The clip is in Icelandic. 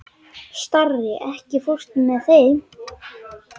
Starri, ekki fórstu með þeim?